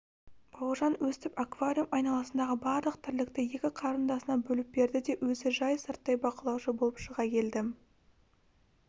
бауыржан өстіп аквариум айналасындағы барлық тірлікті екі қарындасына бөліп берді де өзі жай сырттай бақылаушы болып шыға келді